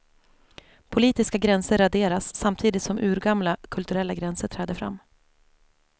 Politiska gränser raderas samtidigt som urgamla kulturella gränser träder fram.